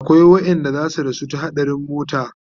akwai waƴanda zasu rasu ta haɗarin mota